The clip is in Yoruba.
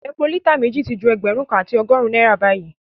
Epo lítà méjì ti ju ẹgbẹ̀rún kan àti ọgọ́rùn-ún náírà báyìí